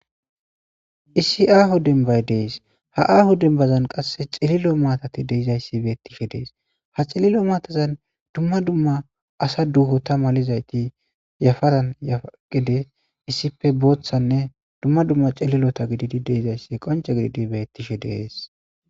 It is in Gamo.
issi aahu dembay dees ha aahu dembazan qasse cililo maatati deizayssi beettishe dees ha cililo maatazan dumma dumma asa duhota malizayti yafaran gides issife booththanne dumma dumma cililota gididi deizayssi qonce gididi bettishe deees